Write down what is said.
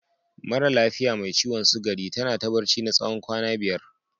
Maran lafiya mai ciwon sugari ta na ta barci na tsawon kwana biyar.